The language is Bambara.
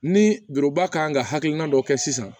Ni juruba kan ka hakilina dɔ kɛ sisan